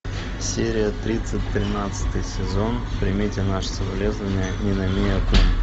серия тридцать тринадцатый сезон примите наши соболезнования ниномия кун